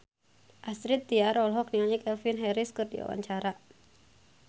Astrid Tiar olohok ningali Calvin Harris keur diwawancara